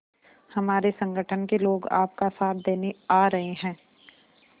हमारे संगठन के लोग आपका साथ देने आ रहे हैं